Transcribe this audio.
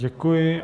Děkuji.